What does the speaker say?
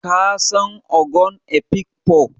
Ka san ogon Afikpo?